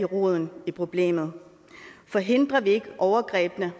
roden af problemet for hindrer vi ikke overgrebene